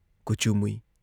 ꯀꯨꯆꯨ ꯃꯨꯏ ꯫